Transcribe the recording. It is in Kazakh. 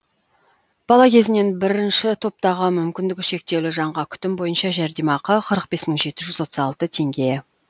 бала кезінен бірінші топтағы мүмкіндігі шектеулі жанға күтім бойынша жәрдемақы қырық бес мың жеті жүз отыз алты теңге